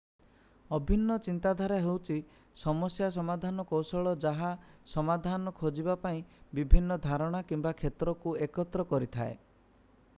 ଅଭିନ୍ନ ଚିନ୍ତାଧାରା ହେଉଛି ସମସ୍ୟା ସମାଧାନ କୌଶଳ ଯାହା ସମାଧାନ ଖୋଜିବା ପାଇଁ ବିଭିନ୍ନ ଧାରଣା କିମ୍ବା କ୍ଷେତ୍ରକୁ ଏକତ୍ର କରିଥାଏ